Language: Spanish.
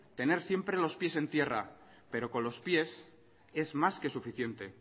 tener siempre los pies en tierra pero con los pies es más que suficiente